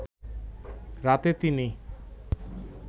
রাতে তিনি